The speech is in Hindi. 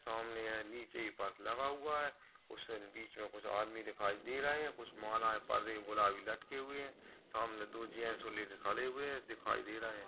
सामने ए नीचे लगा हुआ है और उस बीच मे कुछ आदमी दिखाई दे रहे है कुछ मालाए परदे गुलाबी लटके हुए है सामने दो जेन्ट्स और लेडीज खड़े हुए है दिखाई दे रहे है।